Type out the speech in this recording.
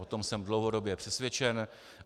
O tom jsem dlouhodobě přesvědčen.